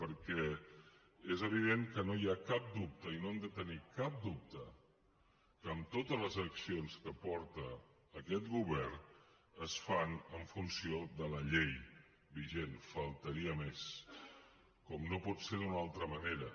perquè és evident que no hi ha cap dubte i no han de tenir cap dubte que totes les accions que porta aquest govern es fan en funció de la llei vigent només faltaria com no pot ser d’una altra manera